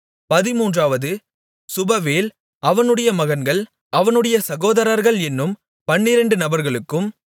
பதின்மூன்றாவது Shubael அவனுடைய மகன்கள் அவனுடைய சகோதரர்கள் என்னும் பன்னிரெண்டு நபர்களுக்கும்